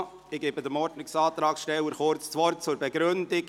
Ich gebe den Ordnungsantragstellern kurz das Wort zur Begründung.